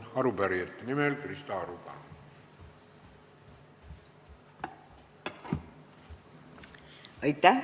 Arupärijate nimel Krista Aru, palun!